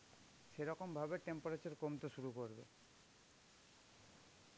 সেই রকম ভাবে temperature কমতে শুরু করবে.